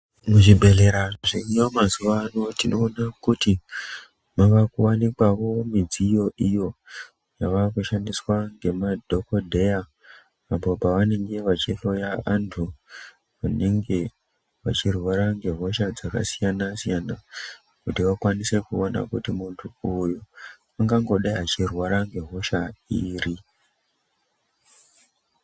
Muzvibhedhlera zveriyo mazuwaano mazuvano tinoona kuti mavakuwanikwawo midziyo iyo dziva kushandiswa ngema dhokodheya apa pavanenge vachihloya vantu vange vachirwara ngehosha dzakasiyana -siyana kuti akwanise kuona kuti muntu ungangodai achirwara hosha iri.